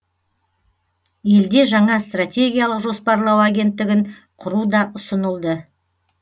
елде жаңа стратегиялық жоспарлау агенттігін құру да ұсынылды